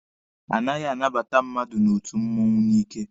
A naghị anabata mmadụ n'otu mmụọnwụ n'ike.